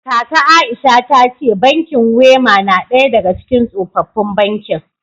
Kaka Aisha ta ce bankin Wema na daya daga cikin tsofaffin bankin